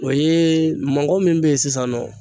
O ye mɔgɔ min bɛ ye sisan nɔ.